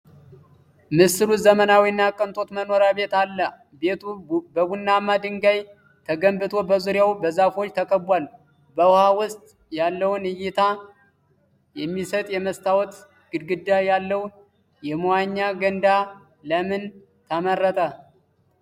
ምስሉ ዘመናዊ እና የቅንጦት መኖሪያ ቤት አለ፤ ቤቱ በቡናማ ድንጋይ ተገንብቶ፣ በዙሪያው በዛፎች ተከቧል። በውሃ ውስጥ ያለውን እይታ የሚሰጥ የመስታወት ግድግዳ ያለው የመዋኛ ገንዳ ለምን ተመረጠ?